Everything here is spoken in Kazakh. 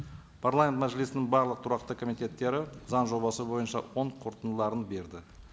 парламент мәжілісінің барлық тұрақты комитеттері заң жобасы бойынша оң қорытындыларын берді